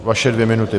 Vaše dvě minuty.